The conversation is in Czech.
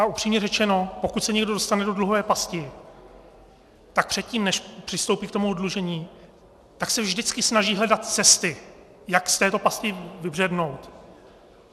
A upřímně řečeno, pokud se někdo dostane do dluhové pasti, tak předtím, než přistoupí k tomu oddlužení, tak se vždycky snaží hledat cesty, jak z této pasti vybřednout.